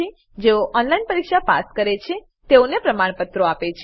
જેઓ ઓનલાઈન પરીક્ષા પાસ કરે છે તેઓને પ્રમાણપત્રો આપે છે